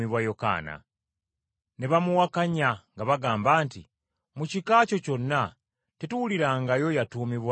Ne bamuwakanya nga bagamba nti, “Mu kika kyo kyonna tetuwulirangayo yatuumibwa linnya eryo.”